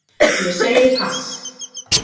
Ég segi pass